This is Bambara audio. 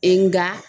E nga